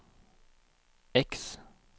X